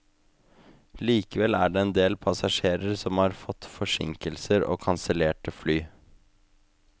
Likevel er det en del passasjerer som har fått forsinkelser og kansellerte fly.